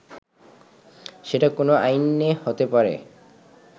সেটা কোন আইনে হতে পারে